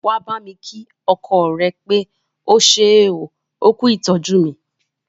Wà á bámi kí ọkọ rẹ pé ó ṣé oo, ó kú ìtọ́jú mí!